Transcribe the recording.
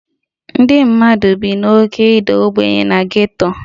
Ndị mmadụ bi n'oké ịda ogbenye na geto